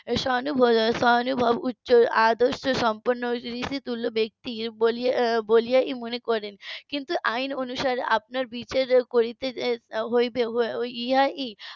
সহানু~ সহানুভব উচ্চ আদর্শ সম্পন্ন ঋষিতুল্য ব্যাক্তি বলে মনে করেন কিন্তু আইন অনুসারে আপনার বিচার করতে হবে এবং ইহাই